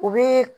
U bɛ